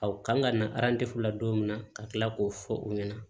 kan ka na la don min na ka kila k'o fɔ u ɲɛna